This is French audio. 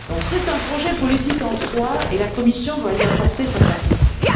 C'est donc un projet politique en soi et la Commission doit y apporter sa contribution.